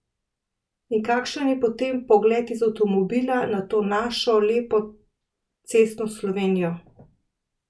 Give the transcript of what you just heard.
In kakšen je potem pogled iz avtomobila na to našo lepo cestno Slovenijo?